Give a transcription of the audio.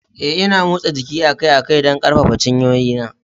Eh, Ina motsa jiki akai-akai don ƙarfafa cinyoyina.